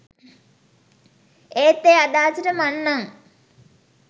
ඒත් ඒ අදහසට මං නම්